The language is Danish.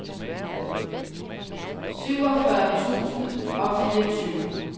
syvogfyrre tusind og fireogtyve